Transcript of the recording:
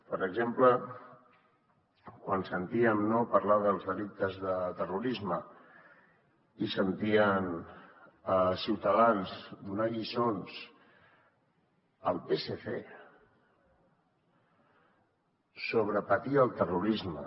per exemple quan sentíem parlar dels delictes de terrorisme i sentíem ciutadans donar lliçons al psc sobre patir el terrorisme